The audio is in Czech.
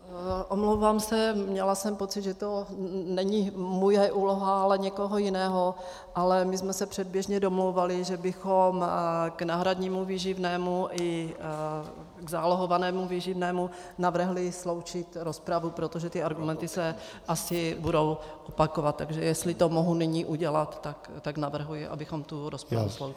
Omlouvám se, měla jsem pocit, že to není moje úloha, ale někoho jiného, ale my jsme se předběžně domlouvali, že bychom k náhradnímu výživnému i k zálohovanému výživnému navrhli sloučit rozpravu, protože ty argumenty se asi budou opakovat, takže jestli to mohu nyní udělat, tak navrhuji, abychom tu rozpravu sloučili.